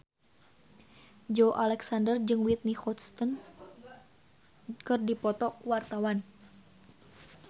Joey Alexander jeung Whitney Houston keur dipoto ku wartawan